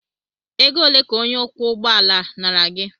Ego ole ka onye ọkwọ ụgbọ ala nara gị?